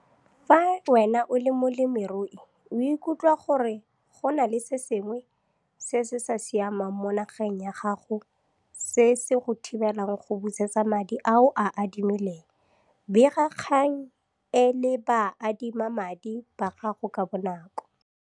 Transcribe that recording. Fa wena o le molemirui o ikutla gore go na le se sengwe se se sa siameng mo nageng ya gago se se go thibelang go busetsa madi a o a adimileng, bega kgang e le baadimamadi ba gago ka bonako.